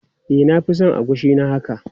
E, na fi son agushi na haka.